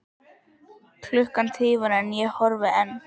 Klukkan tifar en ég horfi enn.